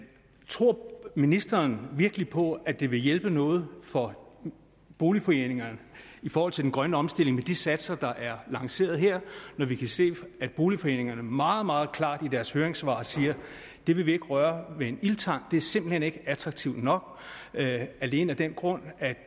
tror ministeren virkelig på at det vil hjælpe noget for boligforeningerne i forhold til den grønne omstilling med de satser der er lanceret her vi kan se at boligforeningerne meget meget klart i deres høringssvar siger det vil vi ikke røre med en ildtang det er simpelt hen ikke attraktivt nok alene af den grund at